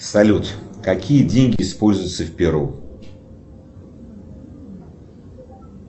салют какие деньги используются в перу